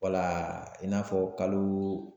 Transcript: i n'a fɔ kalo